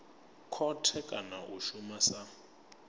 khothe kana a shuma sa